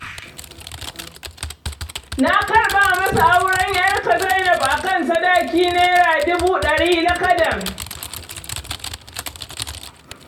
Na karɓa masa auren ƴarka Zainab a kan sadaki Naira duba ɗari lakadan.